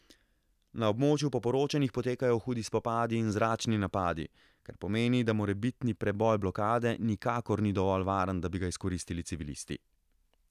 Na območju po poročanjih potekajo hudi spopadi in zračni napadi, kar pomeni, da morebitni preboj blokade nikakor ni dovolj varen, da bi ga izkoristili civilisti.